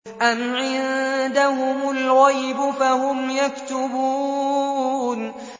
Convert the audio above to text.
أَمْ عِندَهُمُ الْغَيْبُ فَهُمْ يَكْتُبُونَ